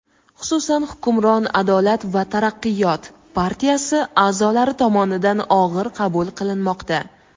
xususan hukmron "Adolat va taraqqiyot" partiyasi a’zolari tomonidan og‘ir qabul qilinmoqda.